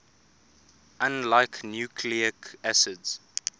unlike nucleic acids